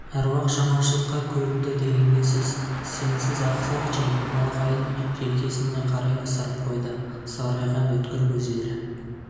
аруақ жаманшылыққа көрінді дегенге сіз сенсіз ақсақ джим малақайын желкесін қарай ысырып қойды сығырайған өткір көздері